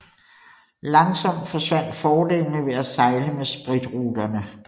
Langsomt forsvandt fordelene ved at sejle med spritruterne